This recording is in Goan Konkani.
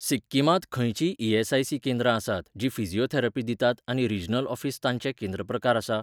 सिक्किमांत खंयचींय ई.एस.आय.सी. केंद्रां आसात जीं फिजिओथेरपी दितात आनी रिजनल ऑफीस तांचें केंद्र प्रकार आसा?